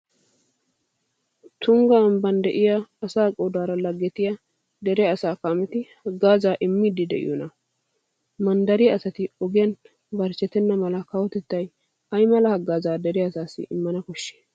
Tungga ambban de'iya asaa qoodaara laggetiya dere asaa kaameti haggaazaa immiiddi de'iyonaa? Manddariya asati ogiyan barchchetenna mala kawotettay ay mala haggaazaa dere asassi immana koshshii?